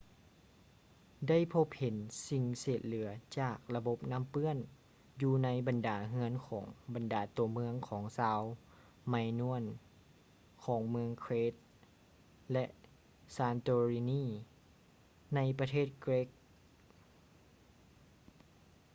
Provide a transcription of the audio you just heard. ໄດ້ພົບເຫັນສິ່ງເສດເຫຼືອຈາກລະບົບນ້ຳເປື້ອນຢູ່ໃນບັນດາເຮືອນຂອງບັນດາຕົວເມືອງຂອງຊາວ ໄມນວນ minoan ຂອງເມືອງ crete ແລະ santorini ໃນປະເທດເກຼັກ greece